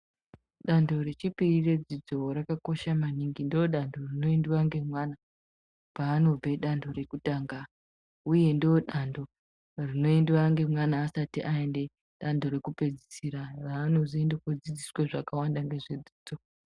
Dando rechipiri redzidzo rakakosha maningi ndodanto rinoindwa nemwana panope danto rekutanga uye ndodando rinoendwa nemwana asati aenda danto rekupedzisira ranozoenda kodzidziswa zvakawanda ngezvedzidzo.